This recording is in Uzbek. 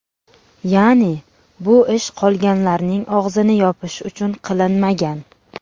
Ya’ni, bu ish qolganlarning og‘zini yopish uchun qilinmagan.